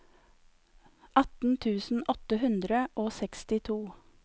atten tusen åtte hundre og sekstito